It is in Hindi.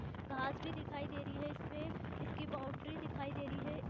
घास भी दिखाई दे रही है इसमें इस की बाउंड्री भी दिखाई दे रही है।